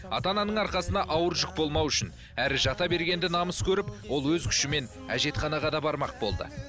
ата ананың арқасына ауыр жүк болмау үшін әрі жата бергенді намыс көріп ол өз күшімен әжетханаға да бармақ болды